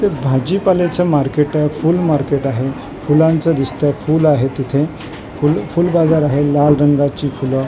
इथे भाजीपाल्याचे मार्केट आहे फुल मार्केट आहे फुलांच दिसतय फुल आहे तिथे फुल फुल बाजार आहे लाल रंगाची फुलं --